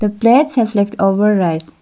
plates have left over rice.